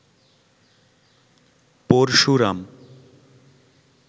Parashuram